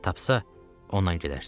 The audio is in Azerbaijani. Tapsa ondan gedərsiniz.